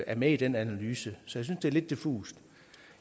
er med i den analyse så synes det er lidt diffust